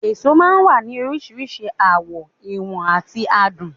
Èso máa ń wà ní oríṣiríṣi àwọ̀, ìwọ̀n àti àádùn